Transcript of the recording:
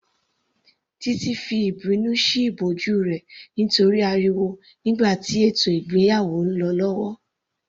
Titi fi ìbínú sí ìbòjú rẹ̀ nítorí ariwo nígbà tí ètò ìgbéyàwó lọ lọ́wọ́